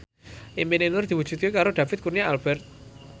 impine Nur diwujudke karo David Kurnia Albert